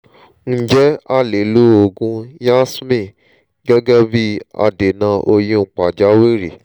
ǹjẹ́ alè lo òògùn yasmin gẹ́gẹ́ bí i adènà oyún pàjáwìrì?